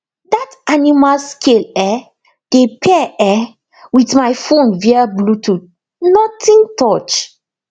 dat animal scale um dey pair um with my phone via bluetooth nothing touch